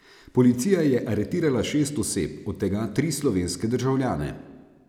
Policija je aretirala šest oseb, od tega tri slovenske državljane.